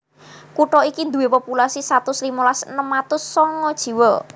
Kutha iki duwé populasi satus limolas enem atus songo jiwa